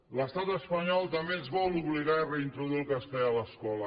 l’estat espanyol també ens vol obligar a reintroduir el castellà a l’escola